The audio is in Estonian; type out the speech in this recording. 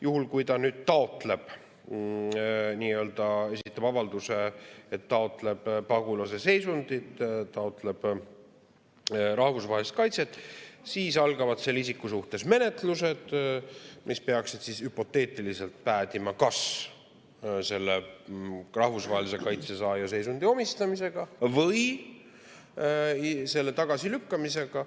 Juhul kui ta esitab avalduse, et taotleb pagulasseisundit, taotleb rahvusvahelist kaitset, siis algavad selle isiku suhtes menetlused, mis peaksid hüpoteetiliselt päädima kas rahvusvahelise kaitse saaja seisundi või selle tagasilükkamisega.